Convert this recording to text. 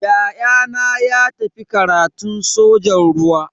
Ya'yana ya tafi karatun sojan ruwa.